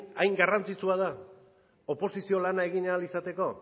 hain garrantzitsua da oposizio lanak egin ahal izateko